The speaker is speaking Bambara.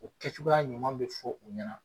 O kɛ cogoya ɲuman bɛ fɔ u ɲɛna.